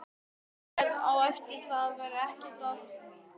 Sérð á eftir það var ekki það.